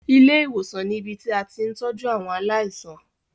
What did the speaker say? Ilé ìwòsàn ni ibi tí a ti ń tọ́jú àwọn aláìsàn.